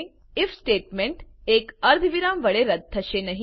if statement એક અર્ધવિરામ વડે રદ્દ થશે નહી